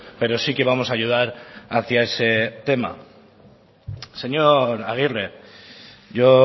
pero sí que vamos a ayudar hacía ese tema señor aguirre yo